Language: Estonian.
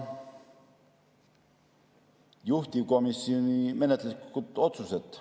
Juhtivkomisjoni menetluslikud otsused.